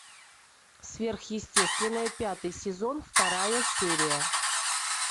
сверхъестественное пятый сезон вторая серия